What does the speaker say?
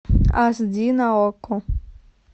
ас ди на окко